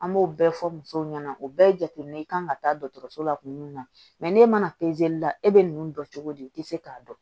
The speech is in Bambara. An b'o bɛɛ fɔ musow ɲɛna o bɛɛ ye jateminɛ i kan ka taa dɔgɔtɔrɔso la kuma min na n'e mana la e bɛ ninnu dɔn cogo di i tɛ se k'a dɔn